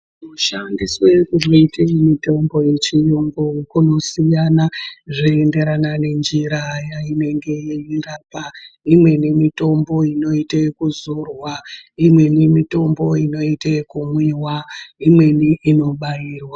Kushandiswe kunoitwa mitombo yechiyungu kunosiyana zveienderana nenjira yainenge yeirapa imweni mitombo inoitwa yekuzorwa, imweni mitombo inoita yekumwiwa, imweni inobairwa.